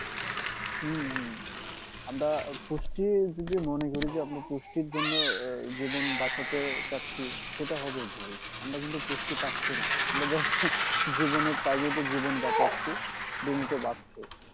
হম আমরা পুষ্টি যদি মনে করি যে আমরা পুষ্টির জন্য জীবন বাঁচাতে চাচ্ছি সেটা হবে ভুল আমরা কিন্তু পুষ্টি পাচ্ছিনা আমরা just জীবনের তাগিদে জীবন বাঁচাচ্ছি দুমুঠো ভাত খেয়ে